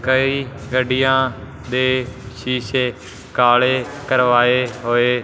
ਕਈ ਗੱਡੀਆਂ ਦੇ ਸ਼ੀਸ਼ੇ ਕਾਲੇ ਕਰਵਾਏ ਹੋਏ।